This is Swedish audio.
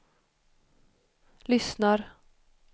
lyssnar